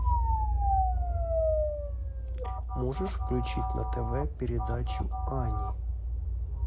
можешь включить на тв передачу ани